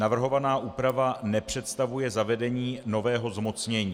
Navrhovaná úprava nepředstavuje zavedení nového zmocnění.